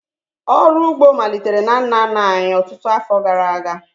Ọrụ ugbo malitere na nna nna anyị ọtụtụ afọ gara aga